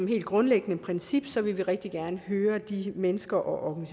helt grundlæggende princip rigtig gerne vil høre de mennesker og